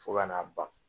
Fo ka n'a ban